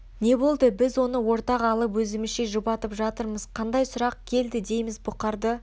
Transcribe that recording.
не болды біз оны ортаға алып өзімізше жұбатып жатырмыз қандай сұрақ келді дейміз бұқарды